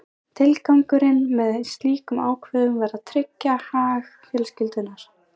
Tilgangurinn með slíkum ákvæðum var að tryggja hag fjölskyldunnar.